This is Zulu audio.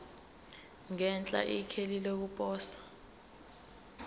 ngenhla ikheli lokuposa